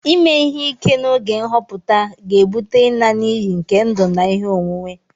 Ịme ihe ike na oge nhọpụta ga-ebute ịna n'iyi nke ndụ na ihe onwunwe